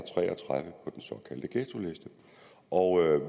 såkaldte ghettoliste og